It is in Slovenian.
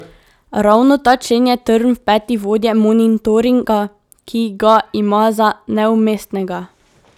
Ravno ta člen je trn v peti vodje monitoringa, ki ga ima za neumestnega.